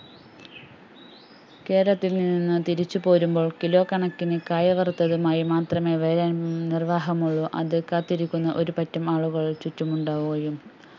കേരളത്തിൽ നിന്ന് തിരിച്ചു പോരുമ്പോൾ kilo കണക്കിന് കായവർത്തതുമായി മാത്രമേ വരാൻ നിർവാഹമുള്ളൂ അത് കാത്തിരിക്കുന്ന ഒരുപറ്റം ആളുകൾ ചുറ്റുമുണ്ടാവുകയും